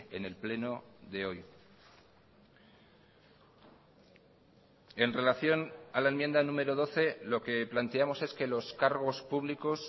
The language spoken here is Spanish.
en el pleno de hoy en relación a la enmienda número doce lo que planteamos es que los cargos públicos